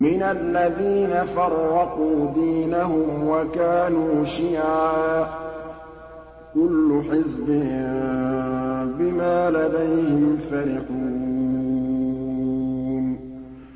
مِنَ الَّذِينَ فَرَّقُوا دِينَهُمْ وَكَانُوا شِيَعًا ۖ كُلُّ حِزْبٍ بِمَا لَدَيْهِمْ فَرِحُونَ